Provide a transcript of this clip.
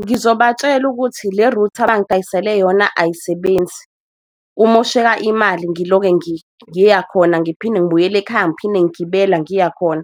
Ngizobatshela ukuthi le-router abangidayisele yona ayisebenzi kumosheka imali ngiloke ngiyakhona, ngiphinde ngibuyele ekhaya ngiphinde ngigibela ngiyakhona.